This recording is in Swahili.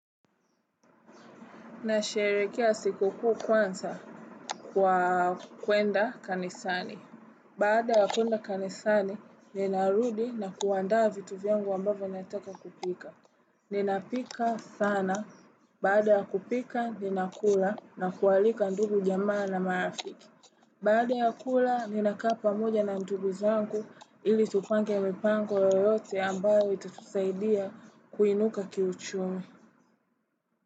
Nasherekea sikukuu kwanza kwa kwenda kanisani. Baada ya kwenda kanisani, ninarudi na kuandaa vitu vyangu ambavyo nataka kupika. Ninapika sana. Baada ya kupika, ninakula na kualika ndugu jamaa na marafiki. Baada ya kula, ni nakaa pamoja na ndugu zangu ili tupange mipango yoyote ambayo itatusaidia kuinuka kiuchumi.